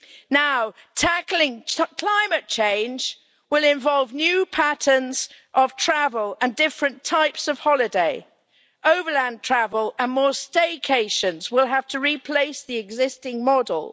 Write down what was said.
Now, tackling climate change will involve new patterns of travel and different types of holiday overland travel and more stay cations will have to replace the existing model.